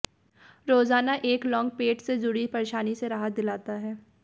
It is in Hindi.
रोजाना एक लौंग पेट से जुड़ी परेशानी से राहत दिलाता है